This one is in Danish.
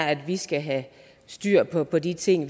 at vi skal have styr på på de ting